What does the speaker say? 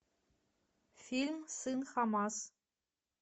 фильм сын хамас